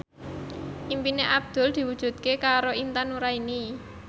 impine Abdul diwujudke karo Intan Nuraini